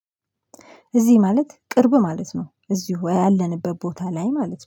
እዚህ ማለት ቅርብ ማለት ነው። እዚሁ ያለንበት ቦታ ላይ ማለት ነው